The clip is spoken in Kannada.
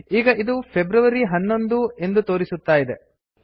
ಈಗ ಇದು ಫೆಬ್ರವರಿ 11 ಎಂದು ತೋರಿಸುತ್ತಾ ಇದೆ